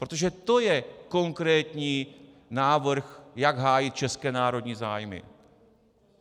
Protože to je konkrétní návrh, jak hájit české národní zájmy.